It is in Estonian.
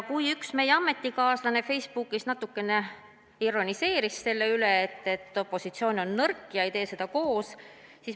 Üks meie ametikaaslasi Facebookis natukene ironiseeris selle üle, et opositsioon on nõrk ega tee seda koos.